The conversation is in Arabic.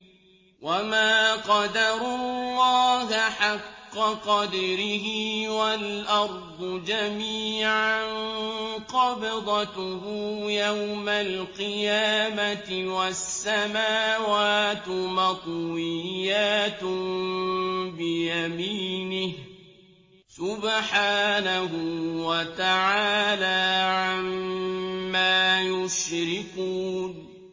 وَمَا قَدَرُوا اللَّهَ حَقَّ قَدْرِهِ وَالْأَرْضُ جَمِيعًا قَبْضَتُهُ يَوْمَ الْقِيَامَةِ وَالسَّمَاوَاتُ مَطْوِيَّاتٌ بِيَمِينِهِ ۚ سُبْحَانَهُ وَتَعَالَىٰ عَمَّا يُشْرِكُونَ